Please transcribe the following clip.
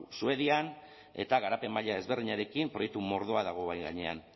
suedian eta garapen maila desberdinarekin proiektu mordoa dago mahai gainean